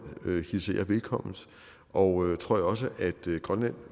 hilser jeg velkommen og tror jeg også grønland